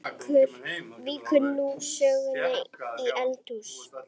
Og hló.